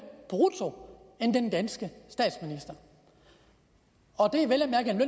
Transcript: brutto end den danske statsminister og det er vel